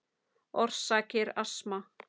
Orsakir astma